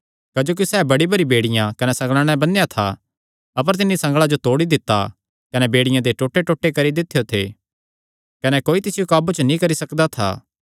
क्जोकि सैह़ बड़ी बरी बेड़ियां कने संगल़ां नैं बन्नेया था अपर तिन्नी संगल़ां जो तोड़ी दित्ता कने बेड़ियां दे टोटेटोटे करी दित्यो थे कने कोई तिसियो काबू च नीं करी सकदा था